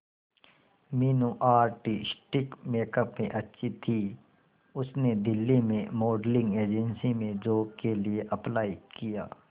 Meenu artistic makeup में अच्छी थी उसने दिल्ली में मॉडलिंग एजेंसी में जॉब के लिए अप्लाई किया